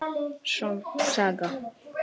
Sönn saga.